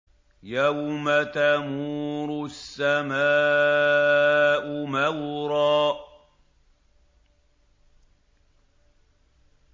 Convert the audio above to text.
يَوْمَ تَمُورُ السَّمَاءُ مَوْرًا